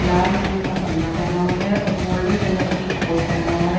लाल रंग का पन्ना पहना हुआ है और गोल्डन कलर की कोट पहना हुआ है।